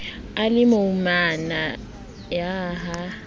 a le moimana ha a